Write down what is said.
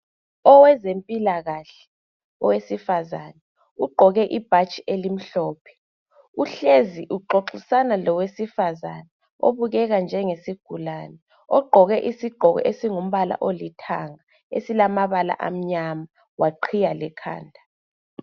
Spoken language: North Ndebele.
Owezempilakahle owesifazana ugqoke ibhatshi elimhlophe uhlezi uxoxisana lowesifazana obukeka njengesigulane ogqoke isigqoko esingumbala olithanga esilamabala amnyama waqhiya lekhanda